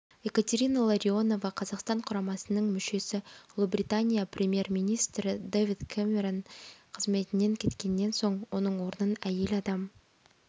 екатерина ларионова қазақстан құрамасының мүшесі ұлыбритания премьер-министрі дэвид кэмерон қызметінен кеткеннен соң оның орнын әйел адам